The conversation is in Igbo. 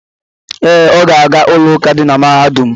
Ee, Ọ ga-aga ụlọụka dị na mahadum.